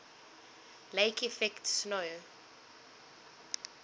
lake effect snow